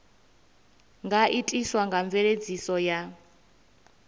nga itiswa nga mveledziso ya